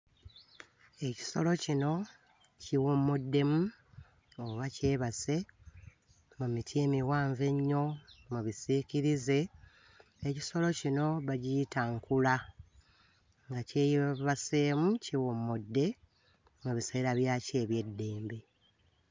Ekisolo kino kiwummuddemu oba kyebase mu miti emiwanvu ennyo mu bisiikirize. Ekisolo kino bagiyita nkula, nga kyebaseemu, kiwummudde mu biseera byakyo eby'eddembe.